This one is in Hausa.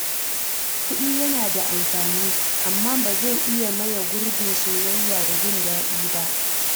Kuɗi yana da amfani, amma ba zai iya maye gurbin soyayya da jin daɗi ba.